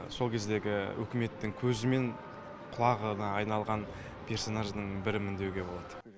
сол кездегі үкіметтің көзі мен құлағына айналған персонажының бірімін деуге болады